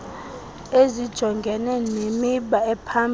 ezijongene nemiba ephambili